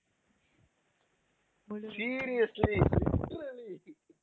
seriously literally